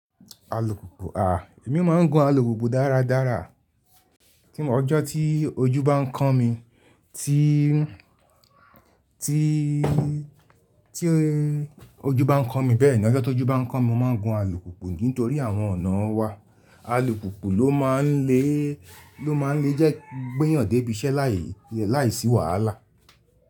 Alùpùpù à, èmi máa ń gun alùpùpù dára dára. Ọjọ́ tí ojú bá ń kán mi, tí ojú bá ń kán mi bẹ́ẹ̀ ni, ọjọ́ tó jù bá ń kán mi, mo máa ń gun alùpùpù nítorí àwọn ọ̀nà wa. Alùpùpù ló máa ń le, ló máa ń le jẹ́ gbíyàn dé ibiṣẹ́ láì, láìsí wàhálà.